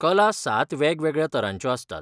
कला सात वेगवेगळ्या तरांच्यो आसतात.